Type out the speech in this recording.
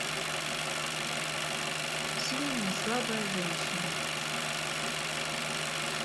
сильная слабая женщина